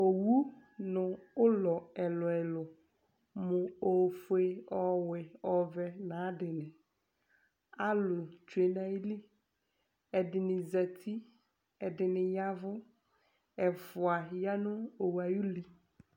ɔwʋ nʋ ʋlɔ ɛlʋɛlʋ mʋ ɛƒʋɛ, ɔwɛ, ɔvɛ nʋ ayi adini, alʋ bi twɛnʋ ali, ɛdini zati, ɛdini yavʋ, ɛƒʋa yanʋ ɔwʋɛ ayi uli